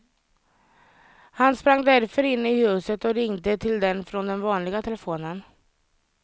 Han sprang därför in i huset och ringde till den från den vanliga telefonen.